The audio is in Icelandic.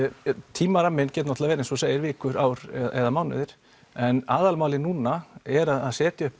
tímaramminn getur náttúrulega verið eins og þú segir vikur ár eða mánuðir en aðalmálið núna er að setja upp